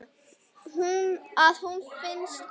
Að hún finnist ekki.